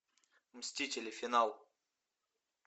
мстители финал